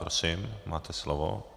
Prosím, máte slovo.